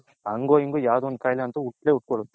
ಹಂಗೋ ಇನ್ಗೋ ಯಾವುದೋ ಒಂದು ಕಾಯಿಲೆ ಹುಟ್ಟೇ ಹುಟ್ಕೊನುತ್ತೆ